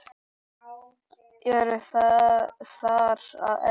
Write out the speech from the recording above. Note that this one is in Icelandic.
Eru þar að eðla sig